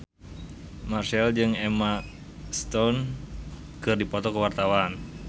Marchell jeung Emma Stone keur dipoto ku wartawan